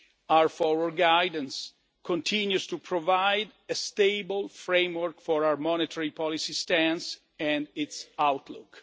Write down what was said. Our forward guidance continues to provide a stable framework for our monetary policy stance and its outlook.